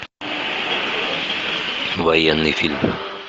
военный фильм